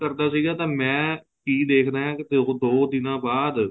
ਕਰਦਾ ਸੀਗਾ ਤਾਂ ਮੈਂ ਕੀ ਦੇਖਦਾ ਹਾਂ ਕੀ ਉਹ ਦੋ ਦਿਨਾ ਬਾਅਦ